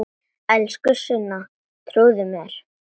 Elsku Sunna, trúðu mér!